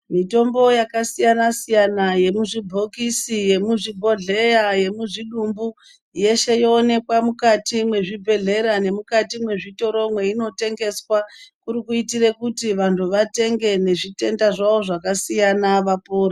Mitombo yakasiyana -siyana yemuzvibhokisi yemuzvibhodhleya yemuzvidumbu yeshe yoonekwa mukati mezvibhedhlera nemukati mezvitoro mainotengeswa kuri kuitira kuti vantu vatenge nezvitenda zvavo zvakasiyana vapore .